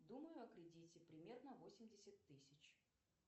думаю о кредите примерно восемьдесят тысяч